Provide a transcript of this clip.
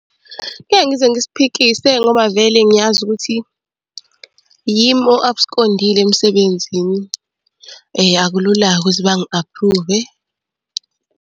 Ngeke ngize ngisiphikise ngoba vele ngiyazi ukuthi yimi o-abskondile emsebenzini, akulula-ke ukuthi bangi-aphruve.